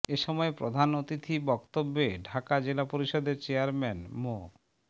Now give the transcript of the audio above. এ সময় প্রধান অতিথি বক্তব্যে ঢাকা জেলা পরিষদের চেয়ারম্যান মো